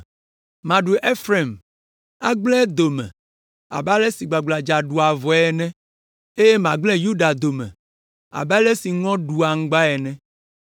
Maɖu Efraim, agblẽ edome abe ale si gbagbladza ɖua avɔe ene, eye magblẽ Yuda dome abe ale si ŋɔ ɖua aŋgba ene.